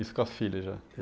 Isso com as filhas, já?